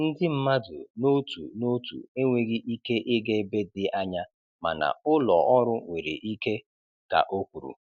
Ndị mmadụ n'otu n'otu enweghị ike ịga ebe dị anya mana ụlọ ọrụ nwere ike,' ka o kwuru.